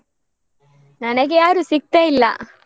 ನನಗೆ ಯಾರು ಸಿಗ್ತಾ ಇಲ್ಲ.